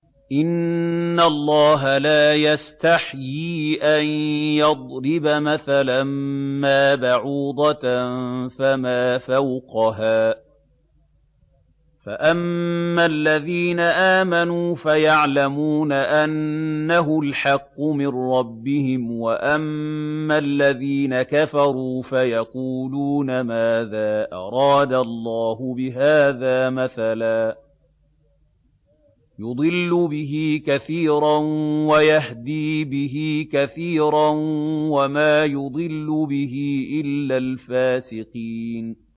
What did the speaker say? ۞ إِنَّ اللَّهَ لَا يَسْتَحْيِي أَن يَضْرِبَ مَثَلًا مَّا بَعُوضَةً فَمَا فَوْقَهَا ۚ فَأَمَّا الَّذِينَ آمَنُوا فَيَعْلَمُونَ أَنَّهُ الْحَقُّ مِن رَّبِّهِمْ ۖ وَأَمَّا الَّذِينَ كَفَرُوا فَيَقُولُونَ مَاذَا أَرَادَ اللَّهُ بِهَٰذَا مَثَلًا ۘ يُضِلُّ بِهِ كَثِيرًا وَيَهْدِي بِهِ كَثِيرًا ۚ وَمَا يُضِلُّ بِهِ إِلَّا الْفَاسِقِينَ